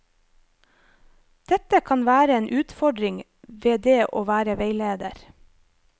Dette kan være en utfordring ved det å være veileder.